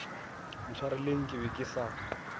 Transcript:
ntshwareleng ke be ke sa